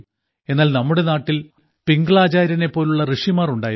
എന്നാൽ നമ്മുടെ നാട്ടിൽ പിംഗളാചാര്യനെ പോലുള്ള ഋഷിമാർ ഉണ്ടായിരുന്നു